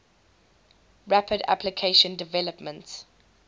rapid application development